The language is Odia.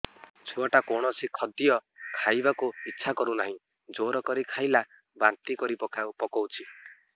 ଛୁଆ ଟା କୌଣସି ଖଦୀୟ ଖାଇବାକୁ ଈଛା କରୁନାହିଁ ଜୋର କରି ଖାଇଲା ବାନ୍ତି କରି ପକଉଛି